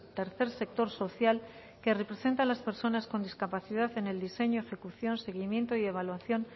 tercer sector social que representa a las personas con discapacidad en el diseño ejecución seguimiento y evaluación